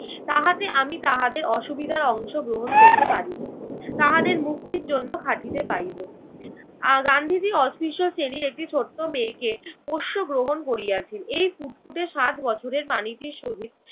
তাহাতে আমি তাহাদের অসুবিধার অংশগ্রহণ করতে পারিব। তাহাদের মুক্তির জন্য খাটিতে পারিব। আহ গান্ধীজি অস্পৃশ্য শ্রেণীর একটি ছোট্ট মেয়েকে পোষ্য গ্রহণ করিয়াছেন। এই ফুটফুটে সাত বছরের প্রাণীটির সহিত